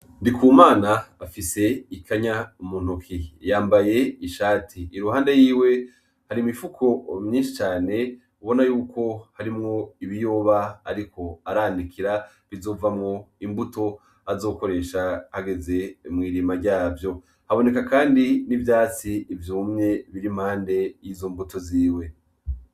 Ndikumana afise ikanya muntoke yambaye ishati ,iruhande yiwe har'imifuko myinshi cane ubona yuko harimwo ibiyoba ariko aranikira bizovamwo imbuto azokoresha ageze mwirimwa zavyo, haboneka kandi n'ivyatsi vyumye bir'impande yizo mbuto ziwe.